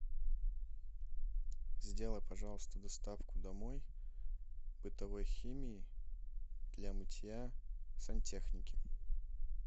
сделай пожалуйста доставку домой бытовой химии для мытья сантехники